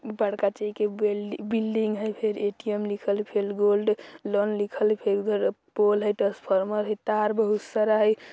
ऊपर कथय के बेल्डिंग बिल्डिंग है ए _टी_एम फेर लिखल गोल्ड फेर लोन लिखल है पोल ट्रांसफार्मर है तार बहुत सारा है।